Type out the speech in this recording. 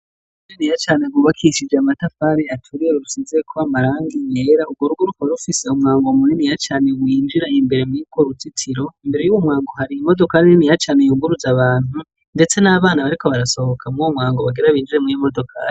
Weni yacane wubakishije amatafare aturiye rusizekoba amaranga imyera urworugo ruko rufise umwango muremi iyacanewinjira imbere mwikwo ruzitsiro imbere y'uwu mwango hariye imodokari nini yacane yunguruza abantu, ndetse n'abana bariko barasohoka mwu bo mwango bagerabinjire mwyo imodokari.